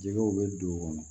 Jɛgɛw bɛ don o kɔnɔ